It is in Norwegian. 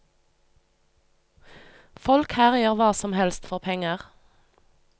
Folk her gjør hva som helst for penger.